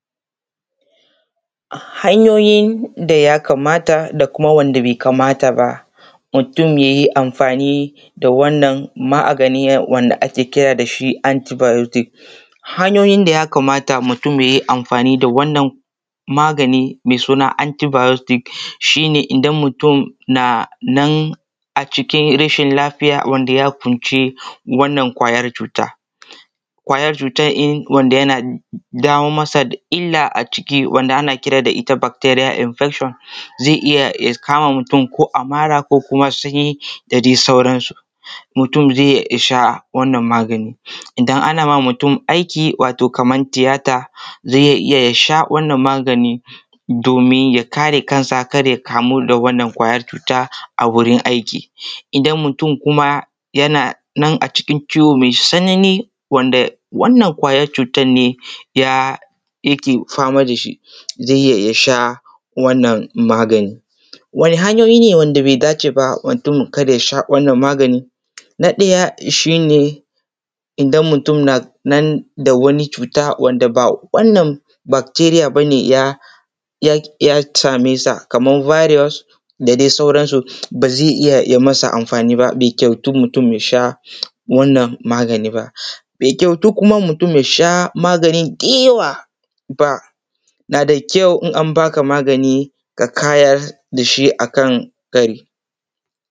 Hanyoyin da ya kamata da kuma wanda bai kamata ba mutun yayi amfani da wannan magani wanda ake kira da shi antibiotics. Hanyoyin da ya kamata mutun yayi amfani da wannan magani mai suna antibiotics shi ne idan mutun na nan a cikin rashin lafiya wanda ya kunci wannan ƙwayar cuta, ƙwayar cutan wanda yana dawo masa da illa a ciki wanda ana kira da ita bacteria infection zai iya ya kama mutun ko a mara ko kuma sanyi da dai sauransu. Mutum zai sha wannan magani, idan ana mamutun aiki ko kuma tiyata zai iya ya sha wannan magani domin ya kare kansa kada ya kamu da wannan ƙwayar cuta a wurin aiki. Idan mutun kuma yana a cikin ciwo mai tsani wanda wannan ƙwayar cutan ne yake fama da shi zai iya ya sha wannan magani. Wane hanyoyi ne wanda bai dace ba mutum kada ya sha wannan magani? Na ɗaya shi ne idan mutum na nan da wani cuta wanda ba wannan bacteria ba ne ya same sa kaman virus da dai sauransu, ba zai iya yayi masa amfani ba bai kyautu mutun ya sha wannan magani ba. Bai kyautu kuma mutun ya sha magani da yawa ba, yana da kyau idan an baka magani ka kayar da shi akan kari.